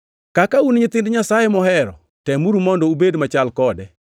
Kaka un nyithind Nyasaye mohero, temuru mondo ubed machal kode,